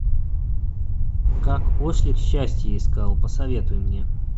как ослик счастье искал посоветуй мне